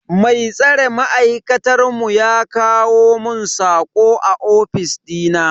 Mai tsare ma'aikatar mu ya kawo mun sako a ofis dina.